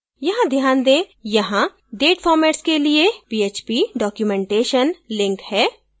यहाँ ध्यान दें यहाँ date formats के लिए php documentation link है